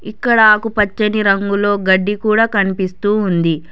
ఇక్కడ ఆకుపచ్చని రంగులో గడ్డి కూడ కనిపిస్తూ ఉంది.